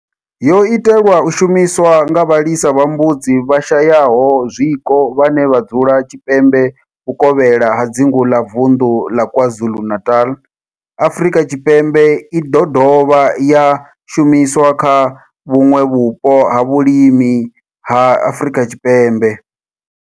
yo itelwa u shumiswa nga vhalisa vha mbudzi vhashayaho zwiko vhane vha dzula tshipembe vhuvokhela ha dzingu la Vundu la KwaZulu-Natal, Afrika Tshipembe i do dovha ya shumiswa kha vhuṋwe vhupo ha vhulimi ha Afrika Tshipembe.